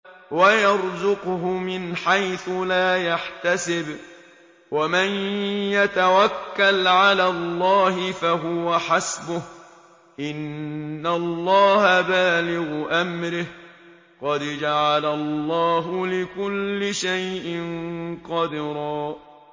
وَيَرْزُقْهُ مِنْ حَيْثُ لَا يَحْتَسِبُ ۚ وَمَن يَتَوَكَّلْ عَلَى اللَّهِ فَهُوَ حَسْبُهُ ۚ إِنَّ اللَّهَ بَالِغُ أَمْرِهِ ۚ قَدْ جَعَلَ اللَّهُ لِكُلِّ شَيْءٍ قَدْرًا